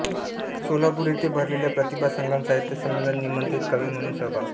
सोलापूर येथे भरलेल्या प्रतिभा संगम साहित्य संमेलनात निमंत्रित कवी म्हणून सहभाग